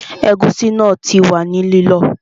Ẹ̀gúsí náà ti wà ní lílọ